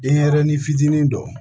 Denyɛrɛnin fitinin dɔ